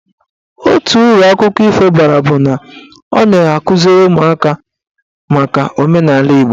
Otu uru akụkọ ifo bara bụ na ọ na-akụziri ụmụaka maka omenaala Igbo.